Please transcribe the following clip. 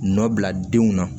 Nɔ bila denw na